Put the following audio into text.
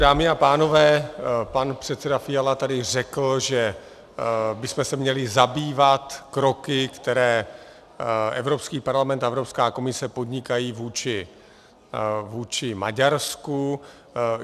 Dámy a pánové, pan předseda Fiala tady řekl, že bychom se měli zabývat kroky, které Evropský parlament a Evropská komise podnikají vůči Maďarsku.